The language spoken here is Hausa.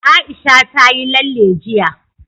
Aisha ta yi lalle jiya.